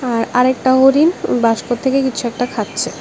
আর আরেকটা হরিণ বাস্ক থেকে কিছু একটা খাচ্ছে।